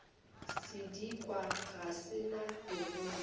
sedikwa ga se na bogolo